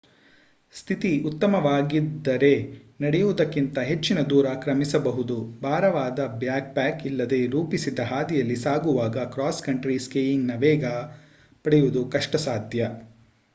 ಸ್ಥಿತಿ ಉತ್ತಮವಾಗಿದ್ದರೆ ನಡೆಯುವುದಕ್ಕಿಂತ ಹೆಚ್ಚಿನ ದೂರ ಕ್ರಮಿಸಬಹುದು ಭಾರವಾದ ಬ್ಯಾಕ್ ಪ್ಯಾಕ್ ಇಲ್ಲದೆ ರೂಪಿಸಿದ ಹಾದಿಯಲ್ಲಿ ಸಾಗುವಾಗ ಕ್ರಾಸ್ ಕಂಟ್ರಿ ಸ್ಕೀಯಿಂಗ್ ನ ವೇಗ ಪಡೆಯುವುದು ಕಷ್ಟ ಸಾಧ್ಯ